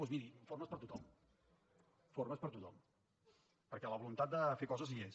doncs miri formes per a tothom formes per a tothom perquè la voluntat de fer coses hi és